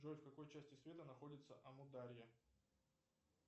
джой в какой части света находится амударья